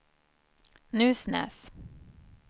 Nusnäs